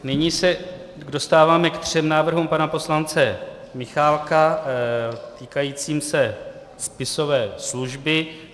Nyní se dostáváme ke třem návrhům pana poslance Michálka týkajícím se spisové služby.